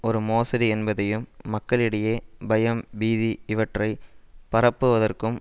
ஒரு மோசடி என்பதையும் மக்களிடையே பயம் பீதி இவற்றை பரப்புவதற்கும்